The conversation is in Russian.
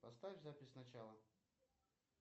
поставь запись сначала